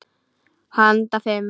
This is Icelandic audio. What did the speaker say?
Handa fimm